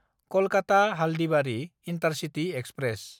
Kolkata Haldibari intercity express